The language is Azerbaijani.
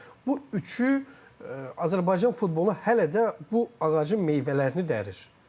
Bu üçü Azərbaycan futbolu hələ də bu ağacın meyvələrini dərir.